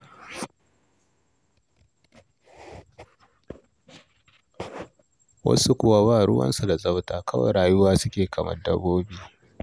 Wasu kuwa ba ruwansu da tsafta, kawai rayuwa suke yi kamar dabbobi.